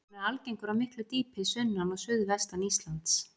Hann er algengur á miklu dýpi sunnan og suðvestan Íslands.